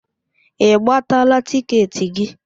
Ị gbataala tịketị gị?